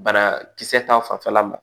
Banakisɛ ta fanfɛla ma